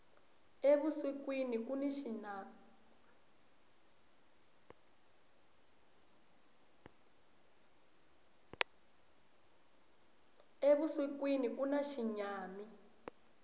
evusikwini kuna xinyami